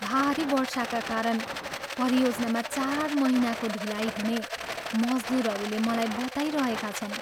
भारी वर्षाका कारण परियोजनामा चार महिनाको ढिलाइ हुने मजदुरहरूले मलाई बताइरहेका छन्।